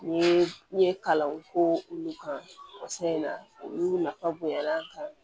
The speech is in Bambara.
N ye n ye kalanw k'o olu kan sa in na olu nafa bonyana